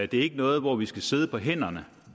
det er ikke noget hvor vi skal sidde på hænderne